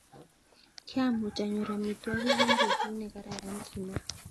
'Kiamuch anyor amitwokik eng betu ne kararan,'' kimwa.